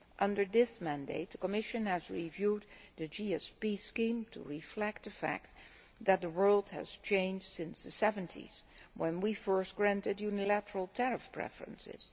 Under this mandate the Commission has reviewed the GSP scheme to reflect the fact that the world has changed since the seventies, when we first granted unilateral tariff preferences.